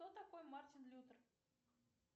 кто такой мартин лютер